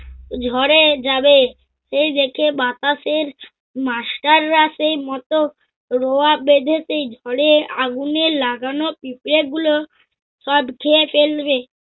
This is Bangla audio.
ঝড়ে যাবে। সেই দেখে বাতাসের master রা সেই মোট রোয়া বেঁধেছে। ঝড়ে আগুনে লাগানো পিঁপড়ে গুলো সব খেয়ে ফেলবে।